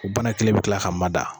O bana kelen bɛ kila ka mada.